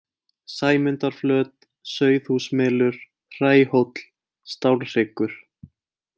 Sæmundarflöt, Sauðhúsmelur, Hræhóll, Stálhryggur